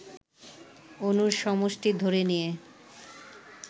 অণুর সমষ্টি ধরে নিয়ে